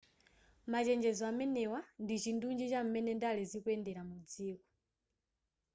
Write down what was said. machenjezo amenewa ndichindunji cham'mene ndale zikuyendera mu dziko